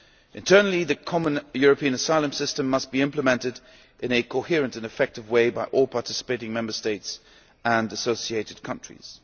Internally the common European asylum system must be implemented in a coherent and effective way by all participating Member States and associated countries.